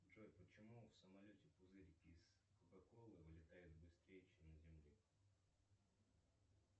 джой почему в самолете пузырики из кока колы вылетают быстрее чем на земле